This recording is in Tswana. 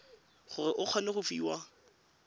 gore o kgone go fiwa